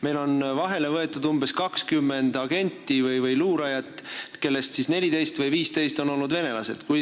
Meil on vahele võetud umbes 20 agenti või luurajat, kellest 14 või 15 on olnud venelased.